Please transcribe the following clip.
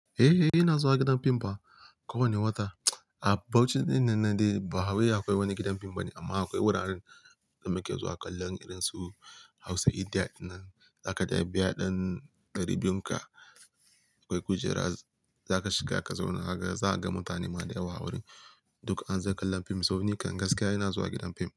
Eh, ina zuwa gidan fim ba kowane wata. A Bauchi dinnan dai ba hawaye akwai wani gidan fim bane amma akwai wuraren da muke zuwa kallon irin su Hausa Idia dinnan. Zaka dai biya ɗan ɗari biyu ka akwai kujera za ka shiga ka zauna. Ka gane za ka ga mutane ma da yawa a wurin duk an zo kallon fim. To nikan gaskiya ina zuwa gidan fim.